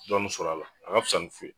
Dɔnni sɔrɔ a la a ga fisa ni fu ye